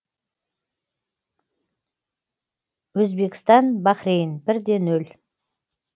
өзбекістан бахрейн бірде нөл